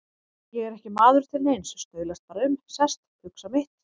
Ég er ekki maður til neins, staulast bara um, sest, hugsa mitt.